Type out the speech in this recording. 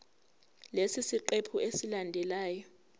kulesi siqephu esilandelayo